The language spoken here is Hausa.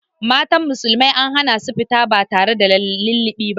Mata musulmi an hana su fita ba tare da lullubi ba.